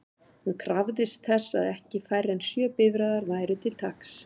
Hún krafðist þess að ekki færri en sjö bifreiðar væru til taks.